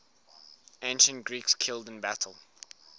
ancient greeks killed in battle